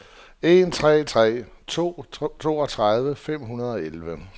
en tre tre to toogtredive fem hundrede og elleve